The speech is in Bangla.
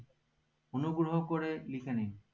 অনুগ্রহ করে লিখে নিন